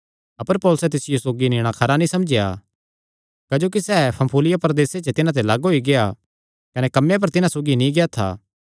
अपर पौलुसैं तिसियो सौगी नीणा खरा नीं समझेया क्जोकि सैह़ पन्फूलिया प्रदेसे च तिन्हां ते लग्ग होई गेआ कने कम्मे पर तिन्हां सौगी नीं गेआ था